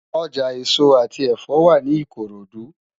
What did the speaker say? Ojá esó ati ẹfọ wá ni Ikorodu